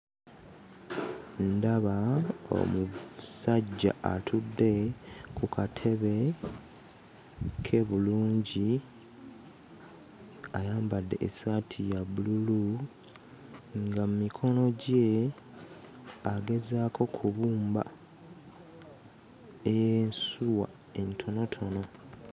Ndaba omusajja atudde ku katebe ke bulungi. Ayambadde essaati ya bbululu nga mu mikono gye agezaako kubumba ensuwa entonotono.